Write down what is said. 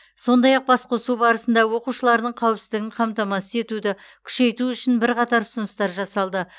сондай ақ басқосу барысында оқушылардың қауіпсіздігін қамтамасыз етуді күшейту үшін бірқатар ұсыныстар жасалды